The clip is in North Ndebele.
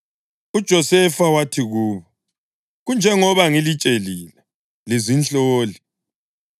UJosefa wathi kubo, “Kunjengoba ngilitshelile: Lizinhloli!